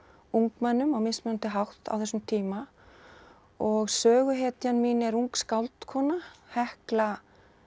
ungmennum á mismunandi hátt á þessum tíma og söguhetjan mín er ung skáldkona Hekla